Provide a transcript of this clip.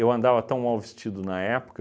andava tão mal vestido na época,